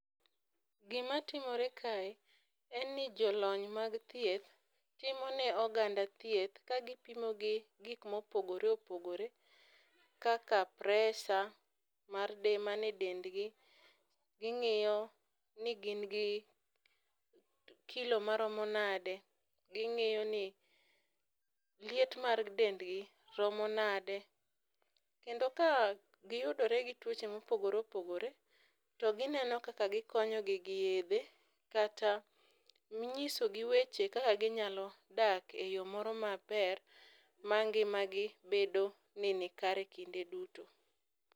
Gimatimore kae en ni jolony mag thieth timo ne oganda thieth kagipimogi gik mopogore opogore kaka presha man e dendgi, ging'iyo ni gin gi kilo maromo nade, ging'iyo ni liet mar dendgi romo nade. Kendo ka giyudore gi tuoche mopogore opogore, to gineno kaka gikonyogi gi yedhe kata nyisogi weche kaka ginyalo dak e yo moro maber ma ngimagi bedo ni nikare kinde duto.